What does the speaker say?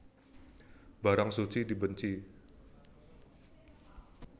Barang suci dibenci